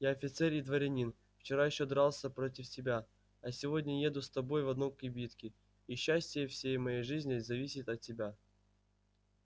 я офицер и дворянин вчера ещё дрался против тебя а сегодня еду с тобой в одной кибитке и счастье всей моей жизни зависит от тебя